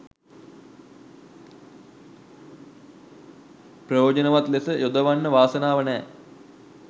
ප්‍රයෝජනවත් ලෙස යොදවන්න වාසනාව නැහැ.